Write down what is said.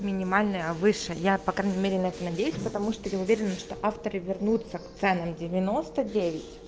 минимальная выше я по крайней мере на это надеюсь потому что я уверена что авторы вернуться к ценам девяносто девять